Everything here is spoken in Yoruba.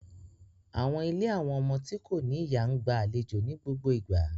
Àwọn ìlé àwọn ọmọ ti ko ni iya n gba àléjo ni gbogbo igba